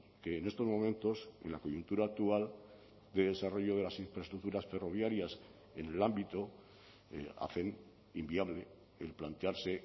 que en estos momentos en la coyuntura actual de desarrollo de las infraestructuras ferroviarias en el ámbito hacen inviable el plantearse